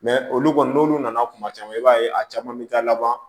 Mɛ olu kɔni n'olu nana kuma caman i b'a ye a caman bɛ taa laban